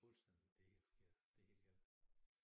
Fuldstændig det helt forkert det helt gal